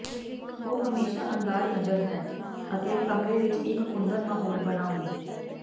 ਉਹ ਹਮੇਸ਼ਾ ਅੰਦਾਜ਼ ਨਜ਼ਰ ਹੈ ਅਤੇ ਕਮਰੇ ਵਿੱਚ ਇੱਕ ਕੁੰਦਨ ਮਾਹੌਲ ਬਣਾਉਣ